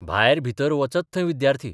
भायर भितर बचत थंय विद्यार्थी.